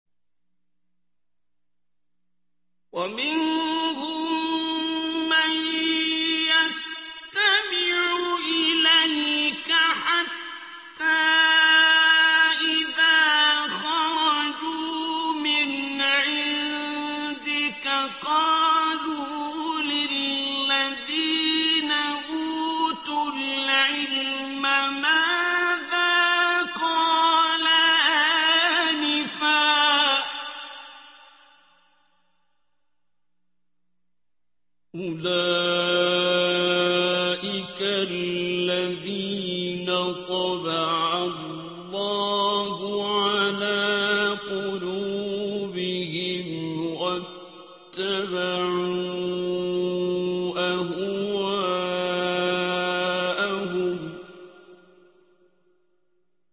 وَمِنْهُم مَّن يَسْتَمِعُ إِلَيْكَ حَتَّىٰ إِذَا خَرَجُوا مِنْ عِندِكَ قَالُوا لِلَّذِينَ أُوتُوا الْعِلْمَ مَاذَا قَالَ آنِفًا ۚ أُولَٰئِكَ الَّذِينَ طَبَعَ اللَّهُ عَلَىٰ قُلُوبِهِمْ وَاتَّبَعُوا أَهْوَاءَهُمْ